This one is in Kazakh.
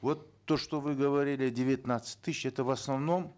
вот то что вы говорили девятнадцать тысяч это в основном